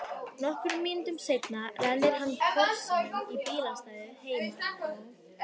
Nokkrum mínútum seinna rennir hann Porsinum í bílastæðið heima hjá